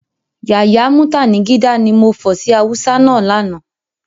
Yàyà mútànigídá, ni mo fọ̀ sí Hausa náà lánàá